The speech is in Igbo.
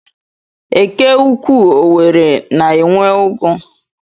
Eke Ukwuu Owerri na-enwe ugu.